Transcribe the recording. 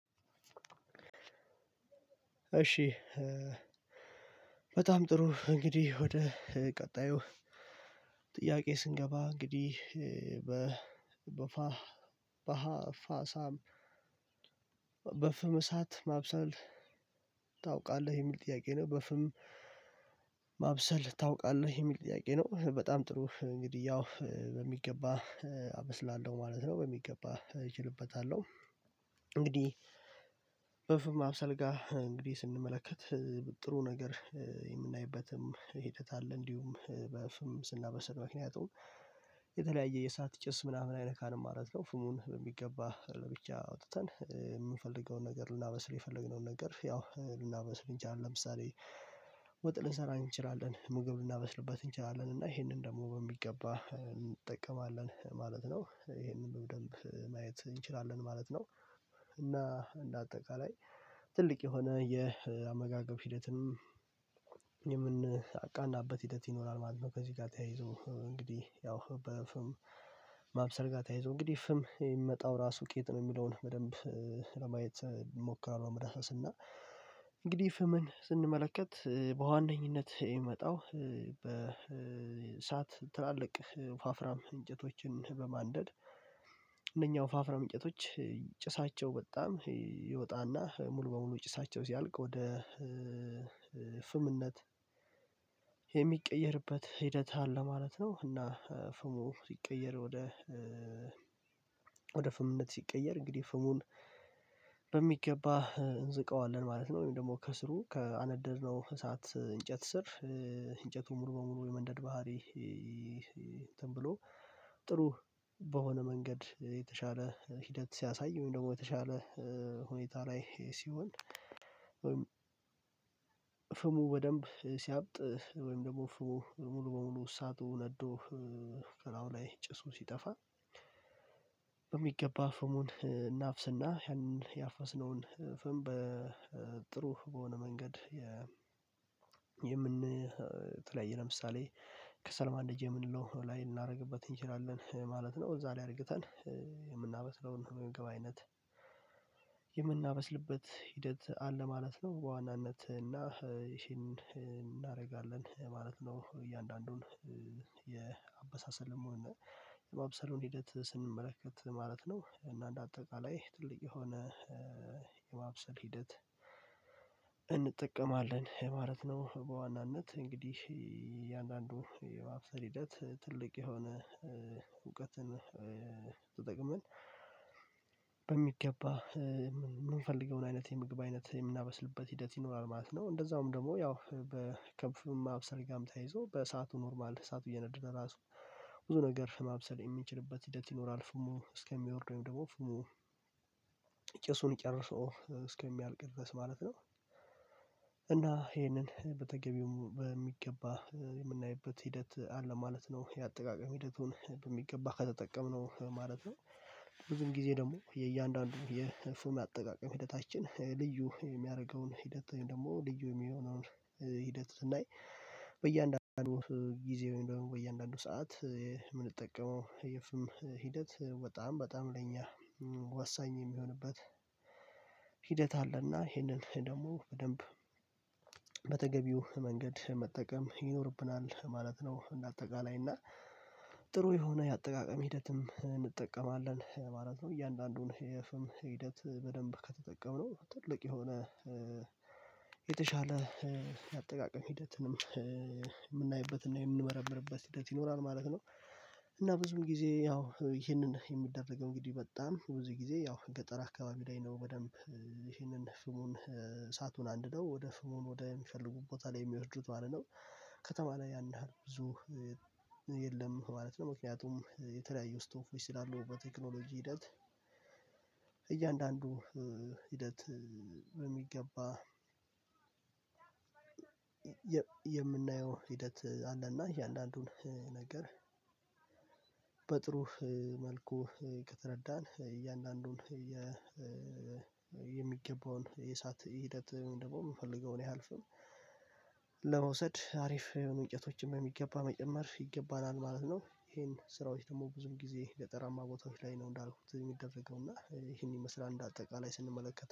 እሺ በጣም ጥሩ እንግዲህ ወደ ቀጣዩ ጥያቄ ስንገባ እንግዲህ በ በፋ በሃ ፋሳም በፍም እሳት ማብሰል ታውቃለህ የሚል ጥያቄ ነው? በፍም ማብሰል ታውቃለህ የሚል ጥያቄ ነው? በጣም ጥሩ እንግዲህ ያው በሚገባ አበስላለሁ ማለት ነው በሚገባ እችልበታለሁ። እንግዲህ በፍም ማብሰል ጋ እንግዲህ ስንመለከት ጥሩ ነገር የምናይበትም ሂደት አለ እንዲሁም በፍም ስናበስል ምክንያቱም የተለያየ የእሳት ጭስ ምናምን አይነካንም ማለት ነው። ፍሙን በሚገባ ለብቻ አውጥተን የምንፈልገውን ነገር ልናበስል የፈለግነውን ነገር ያው ልናበስል እንችላለን ለምሳሌ ወጥ ልንሰራ እንችላለን ምግብ ልናበስልበት እንችላለን እና ይሄንን ደግሞ በሚገባ እንጠቀማለን ማለት ነው። ይሄንን በደንብ ማየት እንችላለን ማለት ነው። እና እንደ አጠቃላይ ትልቅ የሆነ የአመጋገብ ሂደትም የምናቃናበት ሂደት ይኖራል ማለት ነው። ከዚህ ጋር ተያይዞ እንግዲህ ያው በፍም ማብሰል ጋር ተያይዞ እንግዲህ ፍም የሚመጣው ራሱ ከየት ነው የሚለውን በደንብ ለማየት እሞክራለሁ። ለመዳሰስ እና እንግዲህ ፍምን ስንመለከት በዋነኝነት የሚመጣው በእሳት ትላልቅ ወፋፍራም እንጨቶችን በማንደድ እነኛ ወፋፍራም እንጨቶች ጭሳቸው በጣም ይወጣና ሙሉ በሙሉ ጭሳቸው ሲያልቅ ወደ ፍምነት የሚቀየርበት ሂደት አለ ማለት ነው። እና ፍሙ ሲቀየር ወደ ወደ ፍምነት ሲቀየር እንግዲህ ፍሙን በሚገባ እንዝቀዋለን ማለት ነው። ወይም ደግሞ ከስሩ ካነደድነው እሳት እንጨት ስር እንጨቱን ሙሉ በሙሉ የመንደድ ባህሪ እንትን ብሎ ጥሩ በሆነ መንገድ የተሻለ ሂደት ሲያሳይ ወይም ደግሞ የተሻለ ሁኔታ ላይ ሲሆን ወይም ፍሙ በደንብ ሲያብጥ ወይም ደግሞ ፍሙ ሙሉ በሙሉ አሳቱ ነዶ ስፍራው ላይ ጭሱ ሲጠፋ በሚገባ ፍሙን እናፍስና ያንን ያፈስነውን ፈም በጥሩ በሆነ መንገድ የ የምን የተለያያ ላይ ለምሳሌ ከሰልማንደጃ የምንለው ላይ ልናደርግበት እንችላለን ማለት ነው። እዛ ላይ አርግተን የምናበስለውን የምግብ አይነት የምናበስልበት ሂደት አለ ማለት ነው። በዋናነት እና ይሄን እናደርጋለን ማለት ነው። እያንዳንዱን የአበሳሰልም ሆነ የማብሰሎን ሂደት ስንመለከት ማለት ነው እና እንደ አጠቃላይ ትልቅ የሆነ የማብሰል ሂደት እንጠቀማለን ማለት ነው። በዋናነት እንግዲህ እያንዳንዱ የማብሰል ሂደት ትልቅ የሆነ እውቀትን ተጠቅመን በሚገባ የምንፈልገውን አይነት የምግብ አይነት የምናበስልበት ሂደት ይኖራል ማለት ነው። እንደዛውም ደግሞ ያው በ ከፍም ማብሰል ጋርም ተያይዞ በሰአቱ ኖርማል እሳቱ እየነደደ ራሱ ብዙ ነገር ማብሰል የሚንችልበት ሂደት ይኖራል ፍሙ እስከሚወርድ ወይም ደግሞ ፍሙ ጭሱን ጨርሶ እስከሚያልቅ ድረስ ማለት ነው። እ እና ይሄንን በተገቢው በሚገባ የምናይበት ሂደት አለ ማለት ነው የአጠቃቀም ሂደቱን በሚገባ ከተጠቀምነው ማለት ነው። ብዙውን ጊዜ ደግሞ የእያንዳንዱ የፉም አጠቃቀም ሂደታችን ልዩ የሚያደርገውን ሂደት ወይም ደግሞ ልዩ የሚሆነውን ሂደት ስናይ በእያንዳንዱ ጊዜ ወይም ደግሞ በእያንዳንዱ ሰዓት የምንጠቀመው የፍም ሂደት በጣም በጣም ለኛ ወሳኝ የሚሆንበት ሂደት አለና ይሄንን ደግሞ በደንብ በተገቢው መንገድ መጠቀም ይኖርብናል ማለት ነው። እንደ አጠቃላይ እና ጥሩ የሆነ የአጠቃቀም ሂደትም እንጠቀማለን ማለት ነው። እያንዳንዱን የፍም ሂደት በደንብ ከተጠቀምነው ትልቅ የሆነ የተሻለ የአጠቃቀም ሂደትንም የምናይበትና የምንመረምርበት ሂደት ይኖራል ማለት ነው። እና ብዙውን ጊዜ ያው ይሄንን የሚደረገው እንግዲህ በጣም ብዙ ጊዜ ያው ገጠር አካባቢ ላይ ነው በደንብ ይሄንን ፍሙን እሳቱን አንድደው ወደ ፍሙን ወደ ሚፈልጉበት ቦታ ላይ የሚወስዱት ማለት ነው። ከተማ ላይ ያን ያህል ብዙ የለም ማለት ነው። ምክንያቱም የተለያዩ ስቶቨች ስላሉ በቴክኖሎጂ ሂደት እያንዳንዱ ሂደት በሚገባ የ የምናየው ሂደት አለና እያንዳንዱን ነገር በጥሩ መልኩ ከተረዳን እያንዳንዱን የ የሚገባውን የእሳት ሂደት ወይም ደግሞ የምንፈልገውን ያህል ፍም ለመውሰድ አሪፍ የሆኑ እንጨቶችን የሚገባ መጨመር ይገባናል ማለት ነው። ይሄን ስራዎች ደግሞ ብዙም ጊዜ ገጠራማ ቦታዎች ላይ ነው እንዳልኩት የሚደረገው እና ይሄን ይመስላል። እንደ አጠቃላይ ስንመለከተው